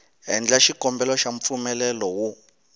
endla xikombelo xa mpfumelelo wo